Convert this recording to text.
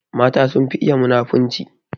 Mata sun fi iya munafunci